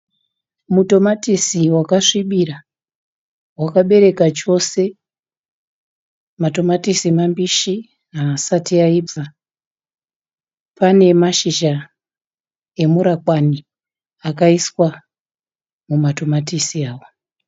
Mutomatisi waka svibira, wakabereka chose . Matomatisi mabishi hasati aibva. Pane mashizha emurakwani akaiswa muma tomatisi awa.